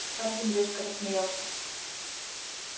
хардин резко рассмеялся